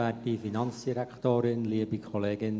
Für die EDU, Johann Ulrich Grädel.